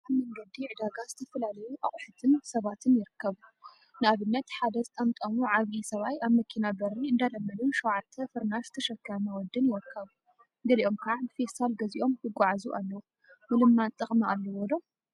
አብ መንገዲ ዕዳጋ ዝተፈላለዩ አቁሑትን ሰባትን ይርከቡ፡፡ ንአብነት ሓደ ዝጠምጠሙ ዓብይ ሰብአይ አብ መኪና በሪ እንዳለመኑን ሸውዓተ ፍርናሽ ዝተሸከመ ወዲን ይርከቡ፡፡ ገሊኦም ከዓ ብፌስታል ገዚኦም ይጓዓዙ አለው፡፡ ምልማን ጥቅሚ አለዎ ዶ?